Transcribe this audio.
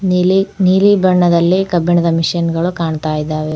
ಇಲಿ ನೀಲಿಬಣ್ಣದಲ್ಲಿ ಕಬ್ಬಿಣದ ಮಿಶಿನ್ಗಳು ಕಾಣುತ್ತಿದ್ದವೆ.